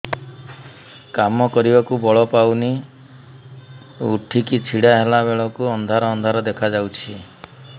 କାମ କରିବାକୁ ବଳ ପାଉନି ଉଠିକି ଛିଡା ହେଲା ବେଳକୁ ଅନ୍ଧାର ଅନ୍ଧାର ଦେଖା ଯାଉଛି